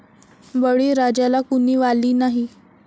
बळीराजाला कुणी वाली नाही!